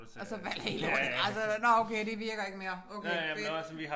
Og så falder hele lortet bare så der nåh okay det virker ikke mere okay fedt